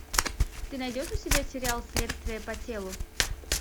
ты найдешь у себя сериал следствие по телу